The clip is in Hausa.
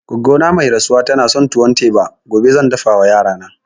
Goggo ta mai rasuwa tana son tuwon teba, gobe zan dafa wa yarana